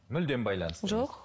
мүлдем байланысыт емес жоқ